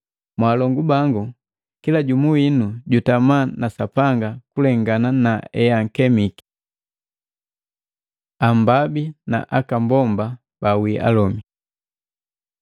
Mwalongu bangu, kila jumu winu jutama na Sapanga kulengana naebukemiki. Ambabi na aka mbomba bawii alomi